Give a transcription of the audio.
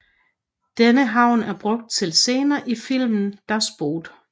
Denne havn er brugt til scener i filmen Das Boot